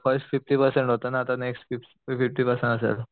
fifty percent होत ना तर नेक्स्ट फिफ्टी परसेन्ट असेल